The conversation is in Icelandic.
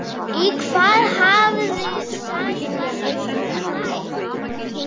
Í hvað hafði Sævar flækst?